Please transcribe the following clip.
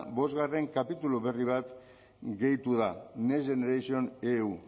bost kapitulu berri bat gehitu da next generation eu